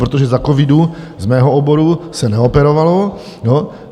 Protože za covidu z mého oboru se neoperovalo.